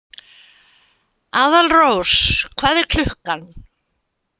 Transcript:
Aðalrós, hvað er klukkan?